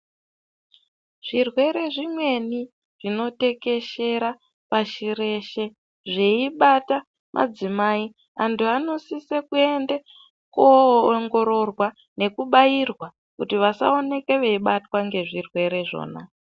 Zvirwere zvimweni zvinotekeshera pashi reshe zveibata madzimai, antu anosise kuenda kowongororwa nekubairwa kuti vasawoneke veibatwa ngezvirwere zvona.